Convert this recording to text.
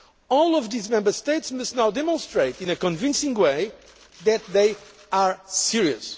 All of these Member States must now demonstrate in a convincing way that they are serious.